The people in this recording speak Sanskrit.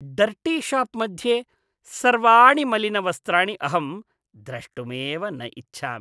डर्टीशाप् मध्ये सर्वाणि मलिनवस्त्राणि अहं द्रष्टुमेव न इच्छामि।